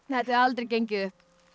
hefði aldrei gengið upp